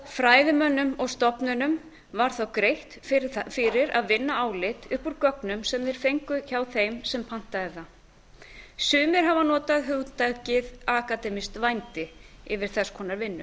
fræðimönnum og stofnunum var þá greitt fyrir að vinna álit upp úr gögnum sem þeir fengu hjá þeim sem pantaði það sumir hafa notað hugtakið akademískt vændi yfir þess konar vinnu